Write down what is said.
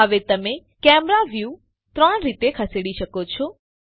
હવે તમે camera view ત્રણ રીતે ખસેડી શકો છો